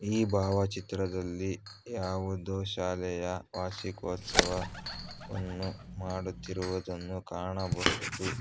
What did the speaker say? ಈ ಭಾವಚಿತ್ರದಲ್ಲಿ ಯಾವುದೋ ಶಾಲೆಯ ವಾರ್ಷಿಕೋತ್ಸವ ವನ್ನು ಮಾಡುತ್ತಿರುವ ದನ್ನು ಕಾಣಬಹುದು.